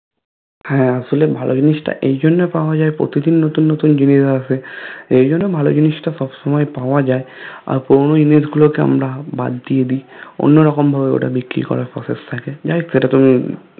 হা আসলে ভালো জিনিসটা এইজন্য পাওয়া যায় প্রতিদিন নতুন নতুন জিনিস আসে এইজন্য ভালো জিনিসটা সব সময় পাওয়া যায় আর পুরোনো জিনিসগুলোকে আমরা বাদ দিয়ে দি অন্যরকম ভাবে ওটা বিক্রি করার Process থাকে যাইহোক সেটা তুমি